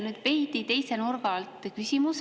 Mul on veidi teise nurga alt küsimus.